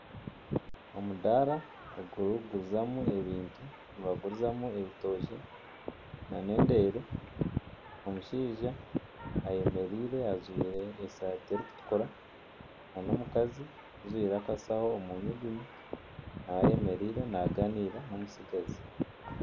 Omudaara ogu barikugurizamu ebintu nibagurizamu ebitookye nana endeere omushaija, omushaija ayemereire ajwire esaati erikutukura nana omukazi ajwire akashaho omu nyugunyu nawe eyemereire naaganiira n'omutsigazi